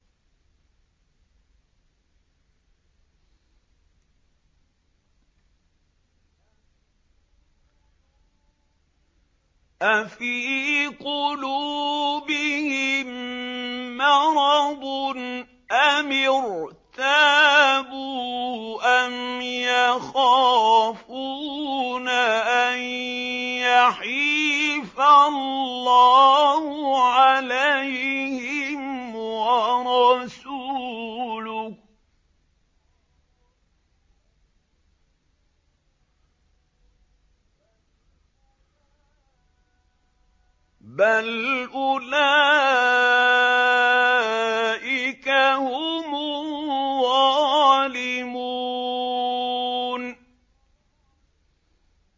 أَفِي قُلُوبِهِم مَّرَضٌ أَمِ ارْتَابُوا أَمْ يَخَافُونَ أَن يَحِيفَ اللَّهُ عَلَيْهِمْ وَرَسُولُهُ ۚ بَلْ أُولَٰئِكَ هُمُ الظَّالِمُونَ